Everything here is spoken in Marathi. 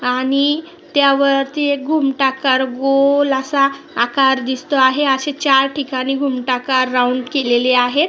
आणि त्यावरती एक घुमटाकार गोल असा आकार दिसतो आहे अशे चार ठिकाणी घुमटाकार राऊंड केलेले आहेत.